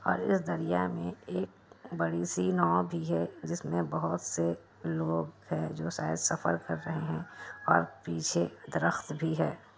और इस दरिया मे एक बड़ी-सी नाव भी है जिसमे बोहोत से लोग है जो शायद सफर कर रहा है और पीछे तरफ भी है।